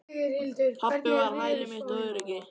Pabbi var hæli mitt og öryggi.